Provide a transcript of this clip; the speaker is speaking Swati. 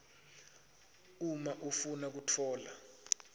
uma ufuna kutfola